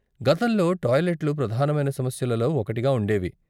గతంలో టాయిలెట్లు ప్రధానమైన సమస్యలలో ఒకటిగా ఉండేవి.